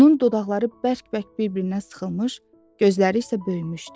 Onun dodaqları bərk-bərk bir-birinə sıxılmış, gözləri isə böyümüşdü.